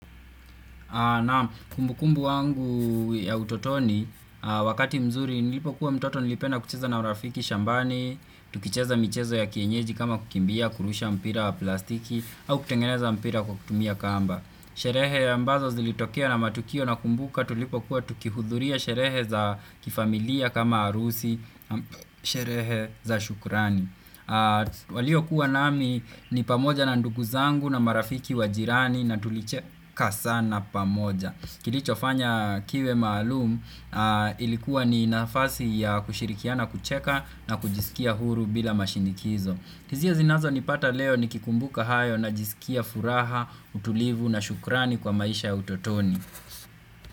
Naam, kumbukumbu wangu wa utotoni, wakati mzuri nilipokuwa mtoto nilipenda kucheza na marafiki shambani, tukicheza michezo ya kienyeji kama kukimbia, kurusha mpira wa plastiki, au kutengeneza mpira kwa kutumia kamba. Sherehe ambazo zilitokea na matukio ninakumbuka tulipokuwa tukihudhuria sherehe za kifamilia kama harusi, sherehe za shukurani. Waliokuwa nami ni ndugu zangu, na marafiki wa jirani, na tulicheka sana pamoja. Kilicho fanya kiwe maalum ilikuwa ni nafasi ya kushirikiana, kucheka na kujisikia huru bila mashinikizo. Hisia zinazonipata leo nikikumbuka hayo ninajisikia furaha, utulivu na shukrani kwa maisha ya utotoni.